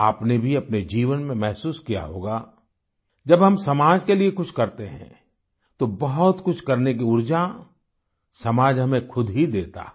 आपने भी अपने जीवन में महसूस किया होगा जब हम समाज के लिए कुछ करते हैं तो बहुत कुछ करने की उर्जा समाज हमें खुद ही देता है